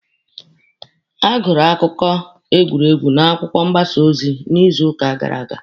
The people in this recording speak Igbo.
A gụrụ akụkọ egwuregwu n'akwụkwọ mgbasa ozi n'izuuka gara aga.